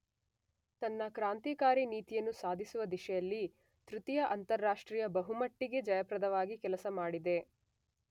ತನ್ನ ಕ್ರಾಂತಿಕಾರಿ ನೀತಿಯನ್ನು ಸಾಧಿಸುವ ದಿಶೆಯಲ್ಲಿ ತೃತೀಯ ಅಂತಾರಾಷ್ಟ್ರೀಯ ಬಹುಮಟ್ಟಿಗೆ ಜಯಪ್ರದವಾಗಿ ಕೆಲಸಮಾಡಿದೆ.